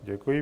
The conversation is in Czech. Děkuji.